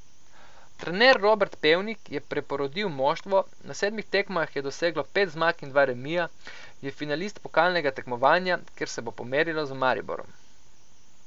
Trener Robert Pevnik je preporodil moštvo, na sedmih tekmah je doseglo pet zmag in dva remija, je finalist pokalnega tekmovanja, kjer se bo pomerilo z Mariborom.